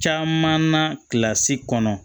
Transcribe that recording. Caman na kilasi kɔnɔ